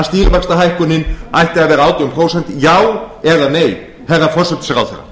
stýrivaxtahækkunin ætti að vera átján prósent já eða nei hæstvirtur forsætisráðherra